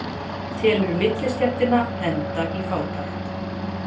Telur millistéttina enda í fátækt